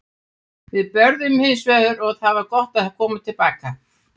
Við börðumst hins vegar og það var gott að koma til baka.